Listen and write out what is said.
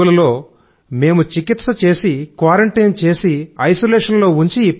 రోగులలో మేము చికిత్స చేసి క్వారంటైన చేసి ఐసోలేషన్ లో ఉంచి